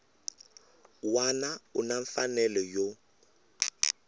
wana u na mfanelo yo